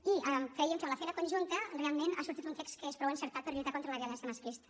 i creiem que amb la feina conjunta realment ha sortit un text que és prou encertat per lluitar contra la violència masclista